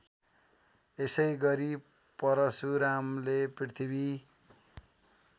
यसैगरी परशुरामले पृथ्वी